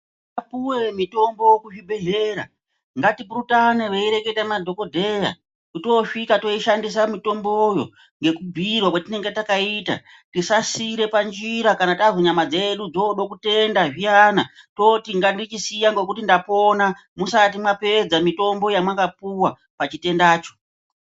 Tapuwe mitombo kuzvibhedhlera ngatipurutane veireketa madhokodheya toosvika toishandisa mitomboyo ngekubhuirwa kwatinenge takaita tisasiire panjira kana tazwa nyama dzedu dzooda kutenda zviyana toti ngandichisiya ngekuti ndapona musati mwapedza mitombo yamwakapuwa pachitendacho.